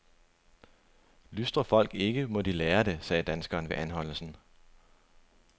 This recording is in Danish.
Lystrer folk ikke, må de lære det, sagde danskeren ved anholdelsen.